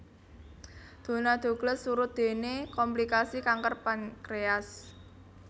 Donna Douglas surut déné komplikasi kanker pankréas